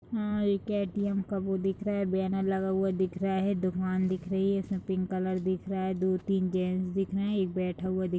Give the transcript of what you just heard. हाँ एक ए.टी.एम. का बो दिख रहा है बैनर लगा हुआ दिख रहा है दुकान दिख रही है उसमे पिंक कलर दिख रही है दो तीन जेंट्स दिख रहे हैं एक बैठा हुआ दिख --